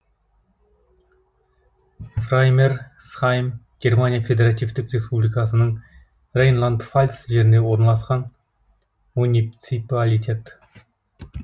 фраймерсхайм германия федеративтік республикасының рейнланд пфальц жерінде орналасқан муниципалитет